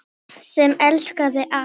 Sem elskaði allt.